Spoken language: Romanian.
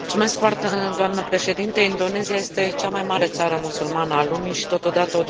Indonezia este cea mai mare țară musulmană a lumii și totodată o democrație consolidată.